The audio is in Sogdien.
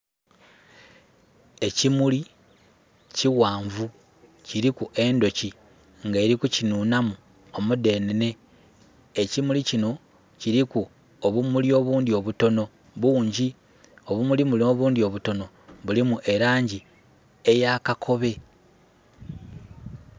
Ekimuli ki ghanvu nga kiliku endhuki eri kukinhunhamu omudenenhe. Ekimuli kino kiliku obumuli obundi obutono bungi, obumuli buno obundi obutonho bulimu elangi eya kakobe.